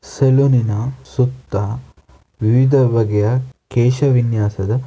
ಸಲೂನಿನ ಸುತ್ತ ವಿವಿಧ ಬಗೆಯ ಕೇಶವಿನ್ಯಾಸದ--